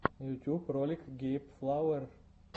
ютьюб ролик гейб флауэр